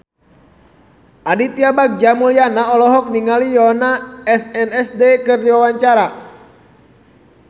Aditya Bagja Mulyana olohok ningali Yoona SNSD keur diwawancara